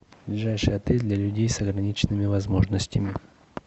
ближайший отель для людей с ограниченными возможностями